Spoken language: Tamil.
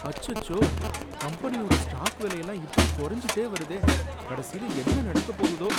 அச்சோ! கம்பெனியோட ஸ்டாக் விலையெல்லாம் இப்படி குறைஞ்சுட்டே வருதே, கடைசில என்ன நடக்கப் போகுதோ